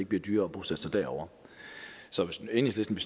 bliver dyrere at bosætte sig derovre så hvis enhedslisten